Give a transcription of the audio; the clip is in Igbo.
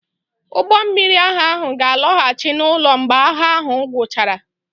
Ụgbọ mmiri agha ahụ ga-alọghachi n'ụlọ mgbe agha ahụ guchara.